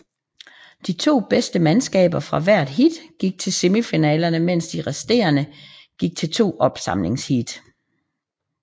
De to bedste mandskaber fra hvert heat gik til semifinalerne mens de resterende gik til to opsamlingsheat